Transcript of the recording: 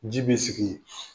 Ji bɛ sigi